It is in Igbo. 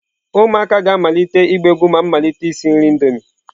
Ụmụaka ga-amalite ịgba egwu ma m malite isi nri Indomie.